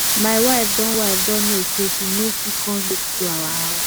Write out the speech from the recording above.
my wife don wife don know say she no fit come late to our house